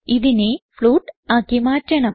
ഇതിനെ ഫ്ലോട്ട് ആക്കി മാറ്റണം